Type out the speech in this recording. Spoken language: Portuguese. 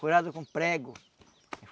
Furado com prego.